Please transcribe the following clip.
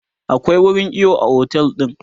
akwai wurin iyo a otel ɗin